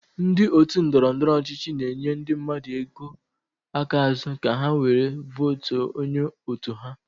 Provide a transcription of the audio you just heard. Ndị otu ndọrọndọrọ ọchịchị na-enye ndị mmadụ ego aka azu ka ha were vootuo onye otu ha.